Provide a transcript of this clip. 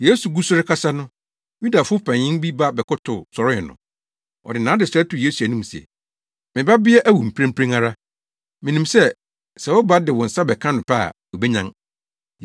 Yesu gu so rekasa no, Yudafo panyin bi ba bɛkotow, sɔree no. Ɔde nʼadesrɛ too Yesu anim se, “Me babea awu mprempren ara. Minim sɛ, sɛ woba de wo nsa bɛka no pɛ a, obenyan.”